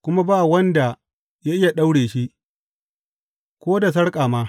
Kuma ba wanda ya iya daure shi, ko da sarƙa ma.